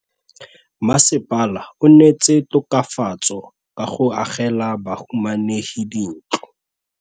Mmasepala o neetse tokafatsô ka go agela bahumanegi dintlo.